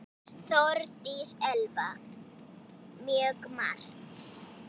Þórdís Elva: Mjög margt.